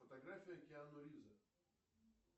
фотография киану ривза